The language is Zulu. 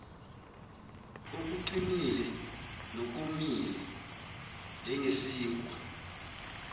okuqinile nokomile njengesinkwa